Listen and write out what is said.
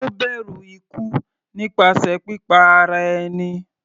Ó bẹ̀rù ikú nípasẹ̀ pípa ara ẹni.